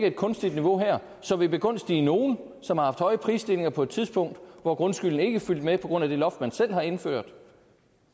et kunstigt niveau her som vil begunstige nogle som har haft høje prisstigninger på et tidspunkt hvor grundskylden ikke fulgte med på grund af det loft man selv har indført